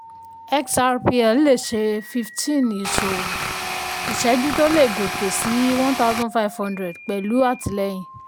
xrpl le ṣe fifteen ìṣòwò/ìṣẹ́jú tó lè gòkè sí one thousand five hundred pẹ̀lú àtìlẹ́yìn.